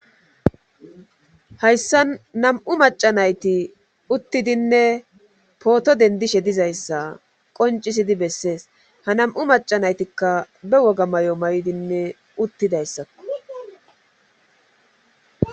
Hayssan nam7u macca nayti uttidinne pooto denddishe dizayssa qonccisidi bessees ha nam7u macca naytikka be woga mayo mayidinne uttidayssakko.